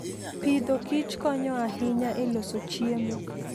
Agriculture and Foodkonyo ahinya e loso chiemo.